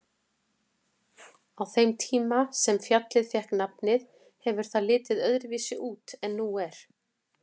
Á þeim tíma sem fjallið fékk nafnið hefur það litið öðruvísi út en nú er.